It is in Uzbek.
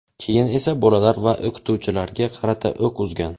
keyin esa bolalar va o‘qituvchilarga qarata o‘q uzgan.